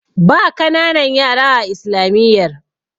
ba kananan yara a islamiyyar